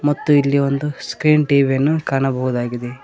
ಮತ್ತೆ ಇಲ್ಲಿ ಒಂದು ಸ್ಕ್ರೀನ್ ಟಿ_ವಿ ಯನ್ನು ಕಾಣಬಹುದಾಗಿದೆ.